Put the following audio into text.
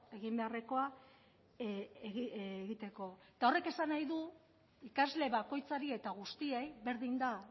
egin beharrekoa egiteko eta horrek esan nahi du ikasle bakoitzari eta guztiei berdin da